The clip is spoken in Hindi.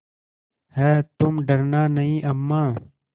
हैतुम डरना नहीं अम्मा